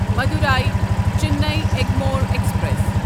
Madurai Chennai Egmore express